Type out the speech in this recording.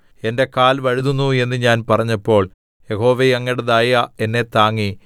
എന്റെ കാൽ വഴുതുന്നു എന്ന് ഞാൻ പറഞ്ഞപ്പോൾ യഹോവേ അങ്ങയുടെ ദയ എന്നെ താങ്ങി